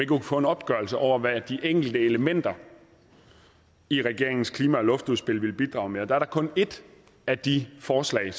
kunne få en opgørelse over hvad de enkelte elementer i regeringens klima og luftudspil ville bidrage med og der er kun et af de forslag